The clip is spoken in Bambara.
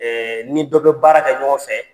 n ni dɔ bɛ baara kɛ ɲɔgɔn fɛ